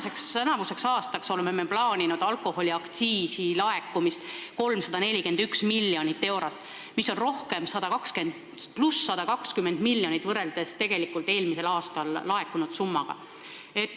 Me oleme tänavuseks aastaks plaaninud, et alkoholiaktsiisi laekub 341 miljonit eurot, mis on 120 miljonit rohkem võrreldes eelmisel aastal tegelikult laekunud summaga.